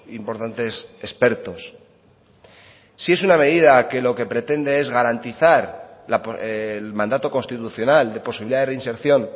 importantes expertos si es una medida que lo que pretende es garantizar el mandato constitucional de posibilidad de reinserción